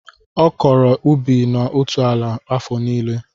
Ọ kọrọ ubi na otu ala afọ nílé